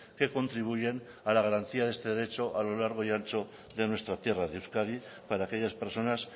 que contribuyen a la garantía de este derecho a lo largo y ancho de nuestra tierra de euskadi para aquellas personas